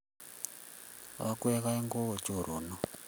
Okweg aeng' ko o choronok.